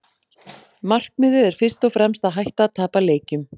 Markmiðið er fyrst og fremst að hætta að tapa leikjum.